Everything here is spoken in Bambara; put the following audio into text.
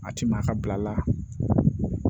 A ti maa ka bila la